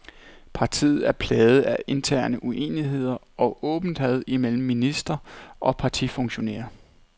Partiet er plaget af interne uenigheder og åbent had imellem minister og partifunktionærer.